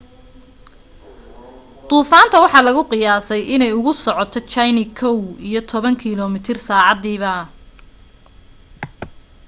duufaanta waxaa lagu qiyaasay inay ugu socoto jayne kow iyo toban kilo mitir saacadiiba